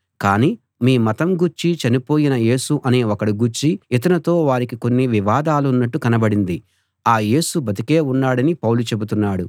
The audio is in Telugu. కానీ మీ మతం గూర్చీ చనిపోయిన యేసు అనే ఒకడి గూర్చీ ఇతనితో వారికి కొన్ని వివాదాలున్నట్టు కనబడింది ఆ యేసు బతికే ఉన్నాడని పౌలు చెబుతున్నాడు